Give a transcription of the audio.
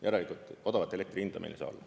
Järelikult odavat elektri hinda meil ei saa olla.